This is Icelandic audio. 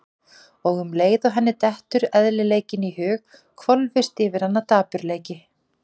Og um leið og henni dettur eðlileikinn í hug hvolfist yfir hana dapurleiki.